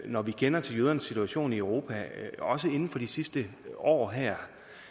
når vi kender til jødernes situation i europa også inden for de sidste år her